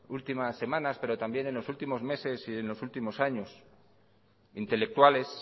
últimas semanas pero también en los últimos meses y en los últimos años intelectuales